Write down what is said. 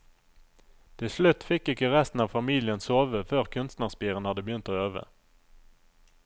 Til slutt fikk ikke resten av familien sove før kunstnerspiren hadde begynt å øve.